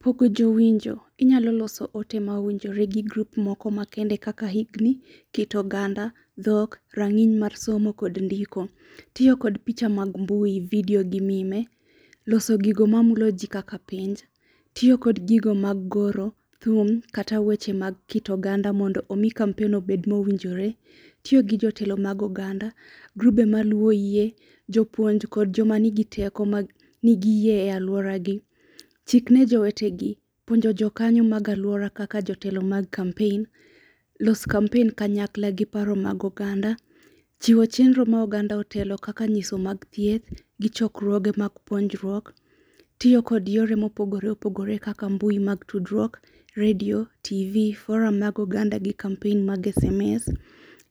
Pogo jowinjo inyalo loso ote ma owinjore gi grup moko makende kaka higni, kit oganda, dhok, rang'iny mar somo, kod ndiko. Tiyo kod picha mag mbui, vidio gi mime. Loso gigo ma mulo ji kaka pinj, tiyo kod gigo mag goro, thum kata weche mag kit oganda mondo omi kampen obed mowinjore. Tiyo gi jotelo mag oganda, grube ma luwo yie, jopuonj kod joma nigi teko mag nigi yie e alwora gi. Chik ne jowete gi: puonjo jokanyo mag alwora kaka jotelo mag kampen, los kampen kanyakla gi paro mag oganda. Chiwo chenro ma oganda otelo kaka nyiso mag thieth, gichokruoge mag puonjruok, tiyo kod yore mopogore opogore kaka mbui mag tudruok, redio, TV, foram mag oganda gi kampen mag sms.